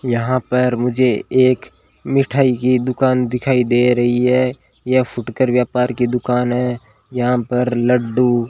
यहां पर मुझे एक मिठाई की दुकान दिखाई दे रही है ये फुटकर व्यापार की दुकान है यहां पर लड़डू--